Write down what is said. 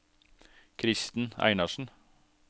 Kristen Einarsen